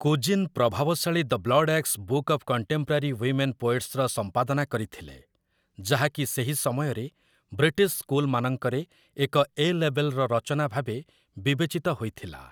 Couzyn ପ୍ରଭାବଶାଳୀ 'the Bloodaxe book of contemporary women ପୋଏଟ୍ସ୍'ର ସମ୍ପାଦନା କରିଥିଲେ, ଯାହାକି ସେହି ସମୟରେ ବ୍ରିଟିଶ୍ ସ୍କୁଲମାନଙ୍କରେ ଏକ 'ଏ ଲେବଲ୍'ର ରଚନା ଭାବେ ବିବେଚିତ ହୋଇଥିଲା ।